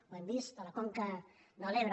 ho hem vist a la conca de l’ebre